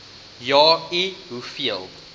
ja i hoeveel